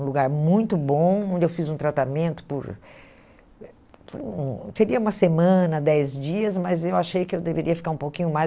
Um lugar muito bom, onde eu fiz um tratamento por... por hum, seria uma semana, dez dias, mas eu achei que eu deveria ficar um pouquinho mais.